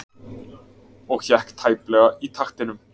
Og hékk tæplega í taktinum.